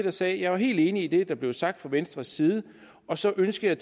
og sagde at jeg var helt enig i det der blev sagt fra venstres side og så ønskede